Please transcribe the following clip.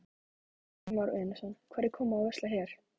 Kristján Már Unnarsson: Hverjir koma og versla hér?